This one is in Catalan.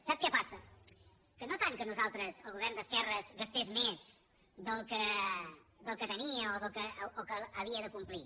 sap què passa que no tant que nosaltres el govern d’esquerres gastés més del que tenia o del que havia de complir